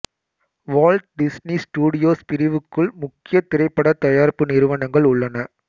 Walt Disney Studios பிரிவுக்குள் முக்கிய திரைப்பட தயாரிப்பு நிறுவனங்கள் உள்ளன